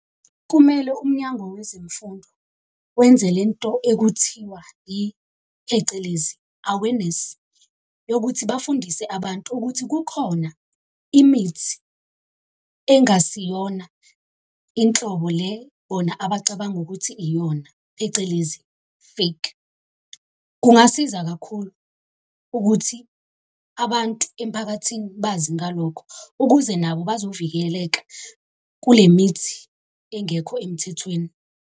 Kumele umnyango wezemfundo wenze lento ekuthiwa yi, phecelezi, awareness, yokuthi bafundise abantu ukuthi kukhona imithi engasiyona inhlobo le bona abacabanga ukuthi iyona, phecelezi, fake. Kungasiza kakhulu ukuthi abantu emphakathini bazi ngalokho ukuze nabo bazovikeleka kule mithi engekho emthethweni.